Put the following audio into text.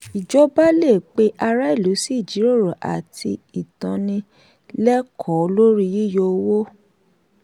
ìjọba lè pe ará ìlú sí ìjíròrò àti ìtànilẹ́kọ̀ọ́ lórí yíyọ owó.